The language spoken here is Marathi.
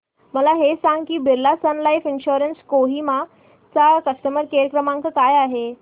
मला हे सांग की Birla Sun Life insurance Kohima चा कस्टमर केअर क्रमांक काय आहे